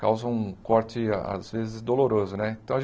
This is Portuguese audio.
causam um corte, às vezes, doloroso né. Então a